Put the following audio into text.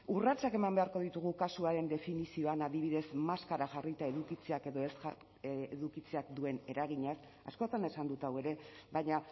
urratsak eman beharko ditugu kasuaren definizioan adibidez maskara jarrita edukitzeak edo ez edukitzeak duen eraginaz askotan esan dut hau ere baina